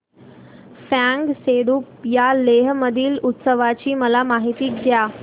फ्यांग सेडुप या लेह मधील उत्सवाची मला माहिती द्या